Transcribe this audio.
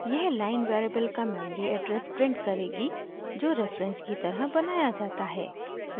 यह line variable का memory address print करेगी जो रेफरेंस की तरह बनाया जाता है